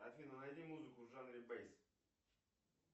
афина найди музыку в жанре бейс